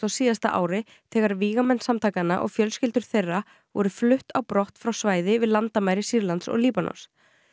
síðasta ári þegar vígamenn samtakanna og fjölskyldur þeirra voru flutt á brott frá svæði við landamæri Sýrlands og Líbanons